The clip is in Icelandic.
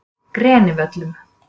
Grenivöllum